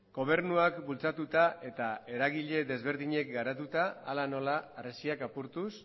gobernuak bultzatuta eta eragile ezberdinek garatuta hala nola harresiak apurtuz